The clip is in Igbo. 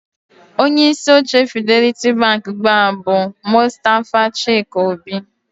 Onye isi oche Fidelity Bank ugbu a bụ Mustafa Chike-Obi